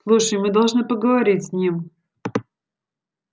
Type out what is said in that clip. слушай мы должны поговорить с ним